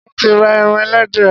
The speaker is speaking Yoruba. Mo ti ra eran ẹlẹdẹ.